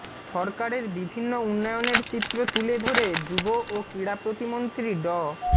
সরকারের বিভিন্ন উন্নয়নের চিত্র তুলে ধরে যুব ও ক্রীড়া প্রতিমন্ত্রী ড